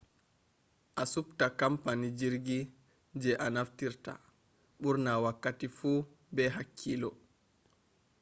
a subta kampany jirgi je a naftirta burna wakkati fu be hakkillo